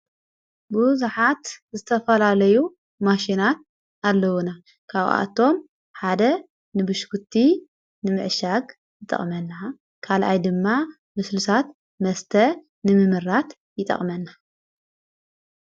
ብዙኃት ዝተፈላለዩ ማሽናት ኣለዉና ካብኣቶም ሓደ ንብሽክቲ ንምዕሻግ ዝጠቕመና ካልኣይ ድማ ምስልሳት መስተ ንምምራት ይጠቕመና።